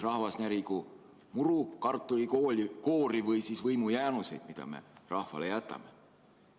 Rahvas närigu muru, kartulikoori või võimujäänuseid, mida me inimestele jätame.